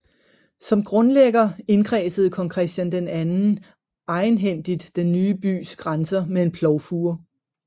Som grundlægger indkredsede kong Christian II egenhændigt den ny bys grænser med en plovfure